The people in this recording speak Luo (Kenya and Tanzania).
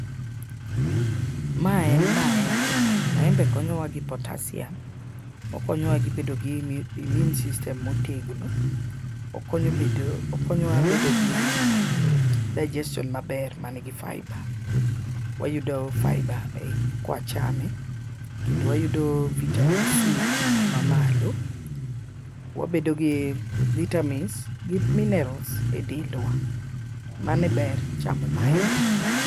Ma en maembe , maembe konyowa gi potasium , okonyowa gi bedo gi immu immune system motegno ,okonyo bedo okonyowa bedo gi digestion maber manigi fibre wayudo fibre ei ka wachame kendo wayudo vitamin C mamalo wabedo gi vitamins gi minerals e dendwa mano e ber chamo maembe.